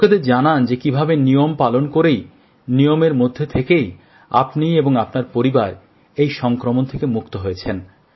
লোকেদের জানান যে কীভাবে নিয়ম পালন করেই নিয়মের মধ্যে থেকেই আপনি এবং আপনার পরিবার এই সংক্রমণ থেকে মুক্ত হয়েছেন